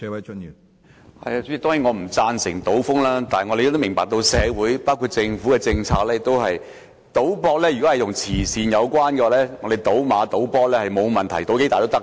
主席，當然我不贊成賭風，但我們明白到，政府的政策是，如果賭博與慈善有關，則賭馬和足球博彩都沒有問題，賭注多大都可以。